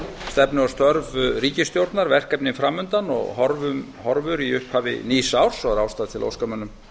stefnu og störf ríkisstjórnar verkefnin fram undan og horfur í upphafi nýs árs og er ástæða til að óska mönnum